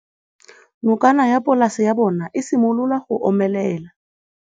Nokana ya polase ya bona, e simolola go omelela.